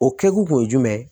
O kɛkun kun ye jumɛn